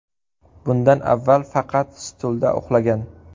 Bundan avval faqat stulda uxlagan.